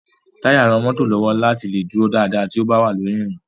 Táyà ran mọ́tò lọ́wọ́ láti lè dúró dáadáa tó bá wà lórí ìrìn.